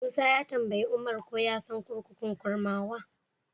Musa ya tambayi Umar ko ya san kurkukun Kurmawa.